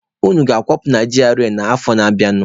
Unu ga-akwapụ na GRA a n'afọ na-abịanụ!